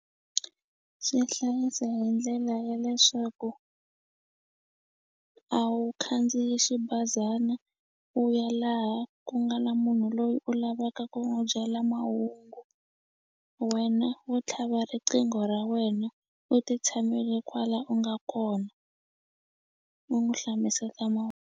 Swi hlayisa hi ndlela ya leswaku a wu khandziyi xibazana u ya laha ku nga na munhu loyi u lavaka ku n'wu byela mahungu wena wo tlhava riqingho ra wena u ti tshamele kwala u nga kona u n'wu hlamuseta .